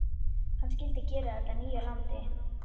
Hann skyldi gera þetta að nýju landi.